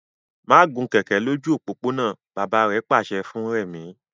Má gun kẹ̀ẹ̀kẹ́ lójú òpópónà! Bàbá pàṣẹ fún Rẹ̀mí.